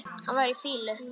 Hann var í fýlu.